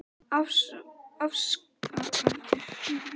Afsakandi segi ég Helga að sambandið hafi rofnað.